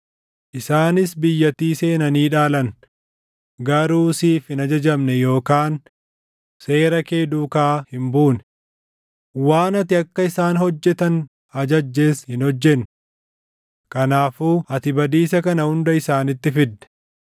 Isaanis biyyattii seenanii dhaalan; garuu siif hin ajajamne yookaan seera kee duukaa hin buune. Waan ati akka isaan hojjetan ajajjes hin hojjenne. Kanaafuu ati badiisa kana hunda isaanitti fidde.